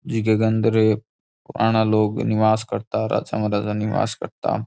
झके के अंदर पुराना लोग निवास करता राजा महाराजा निवास करता।